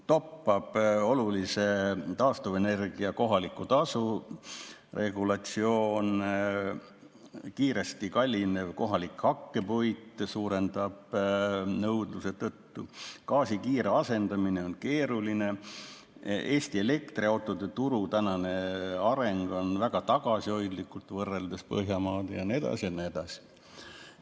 Toppab taastuvenergia kohaliku tasu regulatsioon, kohalik hakkepuit kallineb kiiresti suurema nõudluse tõttu, gaasi kiire asendamine on keeruline, Eesti elektriautode turu areng on väga tagasihoidlik võrreldes Põhjamaadega ja nii edasi ja nii edasi.